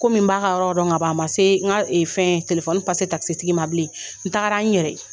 Komi n b'a ka yɔrɔ dɔn ka ma se n ka fɛn telefɔni takosotigi ma bilen n taara n yɛrɛ ye